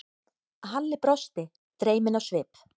Halli brosti, dreyminn á svip.